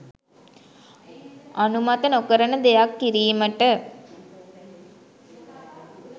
අනුමත නොකරන දෙයක් කිරීමට